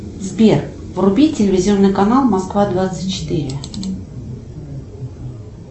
сбер вруби телевизионный канал москва двадцать четыре